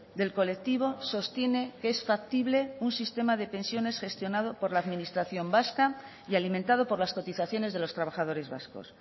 del colectivo sostiene que es factible un sistema de pensiones gestionado por la administración vasca y alimentado por las cotizaciones de los trabajadores vascos